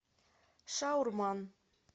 шаурман